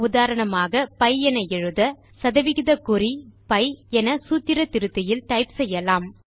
உதாரணமாக பி என எழுத 160pi என சூத்திர திருத்தியில் டைப் செய்யலாம்